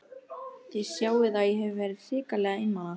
Þið sjáið að ég hef verið hrikalega einmana!